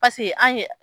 Paseke an ye